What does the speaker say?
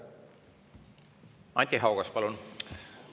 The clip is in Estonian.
Anti Haugas, palun!